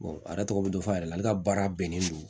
a yɛrɛ tɔgɔ bɛ dɔ fɔ a yɛrɛ la ale ka baara bɛnnen don